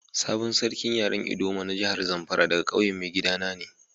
Sabon sarkin yaren ldoma na jihar Zamfara daga ƙauyen maigida na ne.